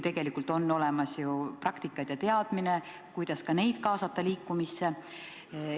Samas on ju olemas praktikad ja teadmine, kuidas ka neid liikumisse kaasata.